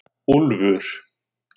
Úlfur